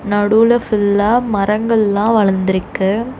நடுவுல ஃபுல்லா மரங்கள் எல்லாம் வளர்ந்து இருக்கு.